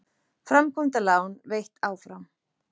Framkvæmdalán veitt áfram